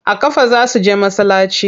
A ƙafa za su je masallaci.